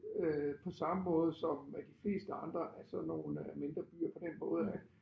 Øh på samme måde som de fleste andre af sådan nogle mindre byer på den måde at